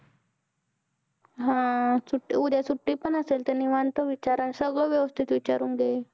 हा सुट्टी उदया सुट्टी पण असेल, तर निवांत विचार आणि सगळं व्यवस्थित विचारून घे.